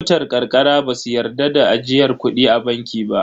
Mutan ƙarƙara ba su yarda da ajiyar kudi a banki ba.